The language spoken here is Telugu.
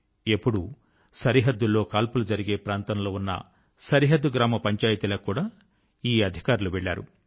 ఎప్పుడూ సరిహద్దు లో కాల్పులు జరిగే ప్రాంతం లో ఉన్న సరిహద్దు గ్రామ పంచాయతీలకు కూడా ఈ అధికారులు వెళ్ళారు